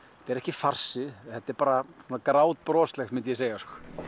er ekki farsi þetta er bara grátbroslegt myndi ég segja